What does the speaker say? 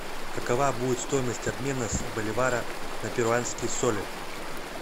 какова будет стоимость обмена с боливара на перуанские соли